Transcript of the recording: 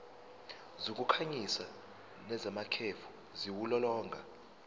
zokukhanyisa nezamakhefu ziwulolonga